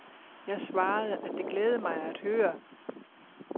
Jeg svarede, at det glædede mig at høre.